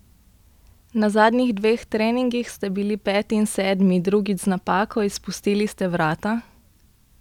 Na zadnjih dveh treningih ste bili peti in sedmi, drugič z napako, izpustili ste vrata?